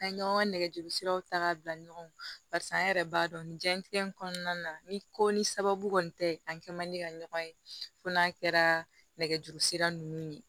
An ye ɲɔgɔn nɛgɛjurusiraw ta ka bila ɲɔgɔn yɛrɛ b'a dɔn nin diɲɛnatigɛ in kɔnɔna na ni ko ni sababu kɔni tɛ an kɛ man di ka ɲɔgɔn ye fo n'a kɛra nɛgɛjuru sira ninnu ye